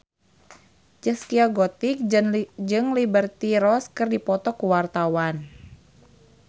Zaskia Gotik jeung Liberty Ross keur dipoto ku wartawan